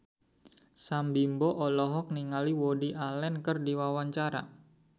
Sam Bimbo olohok ningali Woody Allen keur diwawancara